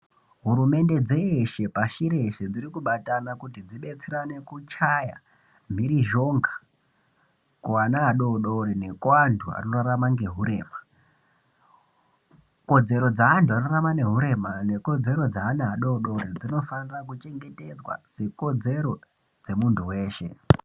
Hurumende dzeshe pashi reshe dzirikubatana kuti dzibetserane kuchaya mhirizhonga kuana adodori nekuantu anorarama ngehurema kodzero dzeantu anorarama nehurema nekodzero dzeana adodori dzinofanira kuchengetedzwa sekodzero dzemuntu weshe.